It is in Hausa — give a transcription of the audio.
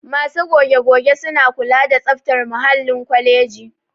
Masu goge-goge suna kula da tsaftar muhallin kwaleji